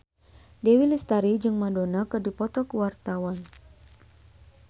Dewi Lestari jeung Madonna keur dipoto ku wartawan